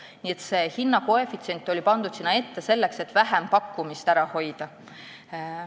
Nii et see hinnakoefitsient oli sinna pandud selleks, et vähempakkumisi ära hoida.